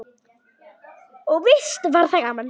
Og víst var það gaman.